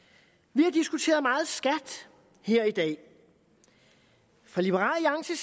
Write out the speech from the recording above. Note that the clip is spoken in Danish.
vi har diskuteret meget skat her i dag fra liberal